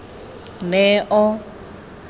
neo